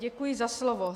Děkuji za slovo.